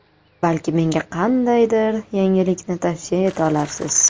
Balki menga qandaydir yangilikni tavsiya eta olarsiz?